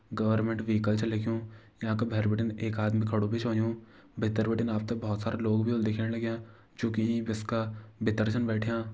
Government vehicle छ लिख्युं यांका भैर बिटिन एक आदमी खड़ु भी छ होयुं भीतर बिटिन आप त बहोत सारा लोग भी होला दिखेण लग्यां जूकी का भीतर छन बैठ्यां।